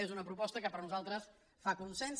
és una proposta que per nosaltres fa consens